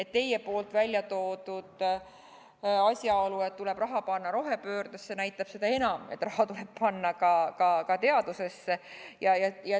Ja teie mainitud asjaolu, et raha tuleb panna rohepöördesse, näitab seda enam, et raha tuleb panna ka teadusesse.